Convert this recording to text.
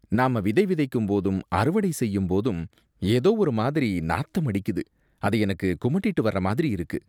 நாம விதை விதைக்கும் போதும் அறுவடை செய்யும் போதும் ஏதோ ஒரு மாதிரி நாத்தம் அடிக்குது, அது எனக்கு குமட்டிட்டு வர மாதிரி இருக்கு